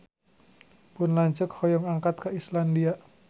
Pun lanceuk hoyong angkat ka Islandia